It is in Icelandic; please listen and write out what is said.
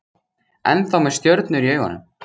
Ennþá með stjörnur í augum